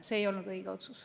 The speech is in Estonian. See ei olnud õige otsus.